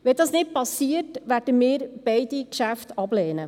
Wenn dies nicht geschieht, werden wir beide Geschäfte ablehnen.